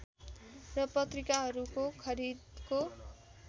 र पत्रिकाहरूको खरिदको